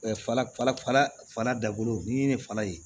Fala fana dabolo ni fana ye